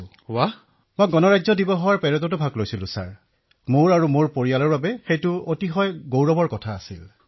অখিলঃ আৰু মহাশয় মই গণতন্ত্ৰ দিৱসৰ পেৰেডতো অংশগ্ৰহণ কৰিছিলো আৰু সেয়া মোৰ পৰিয়ালৰ বাবে অতিশয় গৌৰৱৰ কথা আছিল